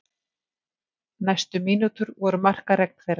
Næstu mínútur voru markaregn þeirra.